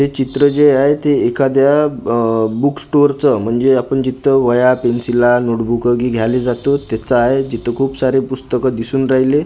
हे चित्र जे आहे ते एखाद्या बुक स्टोअर च म्हणजे आपण जिथं वह्या पेन्सिला नोटबुक जे घ्यायला जातो त्याच आहे जिथं खूप सारे पुस्तकं दिसून राहिले.